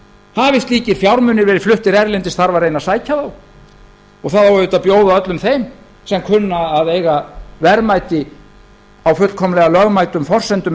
hafi slíkir fjármunir verið fluttir erlendis þarf að reyna að sækja þá og það á auðvitað að bjóða öllum þeim sem kunna að eiga verðmæti á fullkomlega lögmætum forsendum